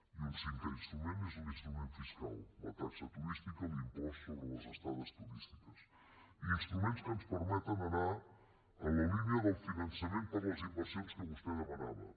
i un cinquè instrument és l’instrument fiscal la taxa turística l’impost sobre les estades turístiques instruments que ens permeten anar en la línia del finançament per a les inversions que vostè demanava